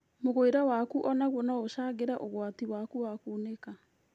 Mũgũĩre waku onaguo noũcangire ũgwati waku wa kunĩka